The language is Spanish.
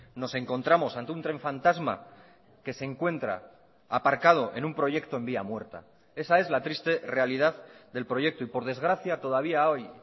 nos encontramos ante un tren fantasma que se encuentra aparcado en un proyecto en vía muerta esa es la triste realidad del proyecto y por desgracia todavía hoy